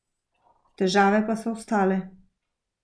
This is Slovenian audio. Težave pa so ostale.